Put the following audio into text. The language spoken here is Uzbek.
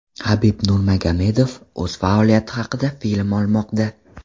Habib Nurmagomedov o‘z faoliyati haqida film olmoqda.